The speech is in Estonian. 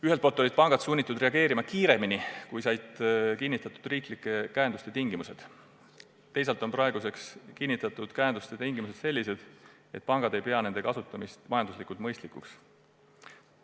Ühelt poolt olid pangad sunnitud reageerima kiiremini, kui said kinnitatud riiklike käenduste tingimused, teisalt on praeguseks kinnitatud käenduste tingimused sellised, et pangad ei pea nende kasutamist majanduslikult mõistlikuks.